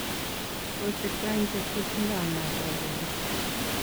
kosirto eng chepchepindo ama tabendo